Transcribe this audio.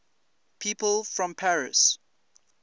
people from paris